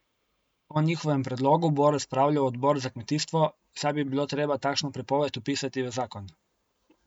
O njihovem predlogu bo razpravljal odbor za kmetijstvo, saj bi bilo treba takšno prepoved vpisati v zakon.